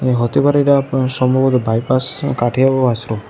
এ হতে পারে এটা সম্ভবত বাইপাস কাঠিয়াভ ওয়াচরুম ।